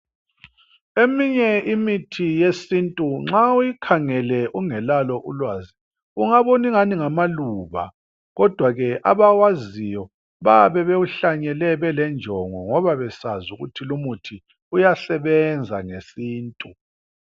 Eminye imithi yesintu nxa uyikhangele ungelalo ulwazi ungabona ngani ngamaluba kodwa ke ababaziyo bayabe bewuhlanyele belenjongo ngoba besazi ukuthi lomuthi uyasebenza ngesintu.